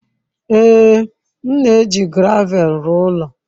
Ee, m na-eji gravel rụọ ụlọ.